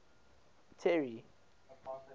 terry